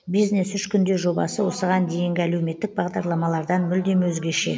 бизнес үш күнде жобасы осыған дейінгі әлеуметтік бағдарламалардан мүлдем өзгеше